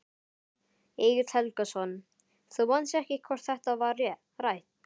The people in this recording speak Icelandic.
Egill Helgason: Þú manst ekki hvort þetta var rætt?